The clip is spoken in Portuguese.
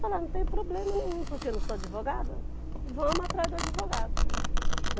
Falava, não tem problema nenhum porque eu não sou advogada, vamos atrás do advogado.